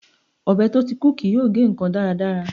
Ọbẹ̀ tó ti kú kì yóò gé ǹkan dáradára.